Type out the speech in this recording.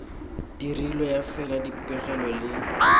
dirilwe ya fela dipegelo le